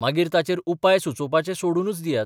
मागीर ताचेर उपाय सुचोवपाचें सोडूनच दियात.